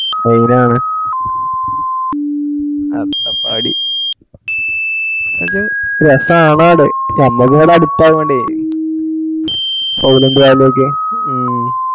മ്മ് main ആണ് അട്ടപ്പാടി എന്താണ് വെച്ച രസാണടെ. ഞമ്മക്ക് ഇവിടെ അടുത്താൺടെ സൈലന്റ് വാലി ഒക്കെ.